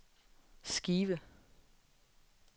skive